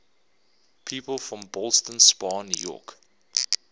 people from ballston spa new york